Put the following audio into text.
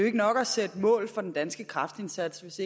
ikke nok at sætte mål for den danske kræftindsats hvis